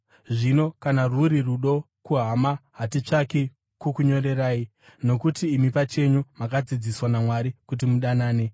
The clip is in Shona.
Zvino kana rwuri rudo kuhama, hatitsvaki kukunyorerai, nokuti imi pachenyu makadzidziswa naMwari kuti mudanane.